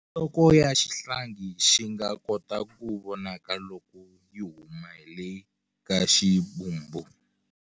Nhloko ya xihlangi xi nga kota ku vonaka loko yi huma hi le ka ximbumbu.